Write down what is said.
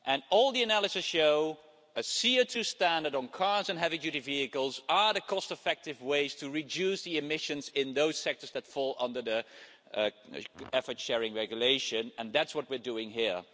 All the analysis shows that a CO2 standard on cars and heavy-duty vehicles is the cost-effective way to reduce emissions in those sectors that fall under the Effort Sharing Regulation, and that's what we're doing here.